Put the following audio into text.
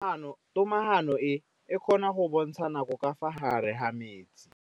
Toga-maanô e, e kgona go bontsha nakô ka fa gare ga metsi.